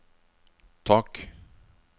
tak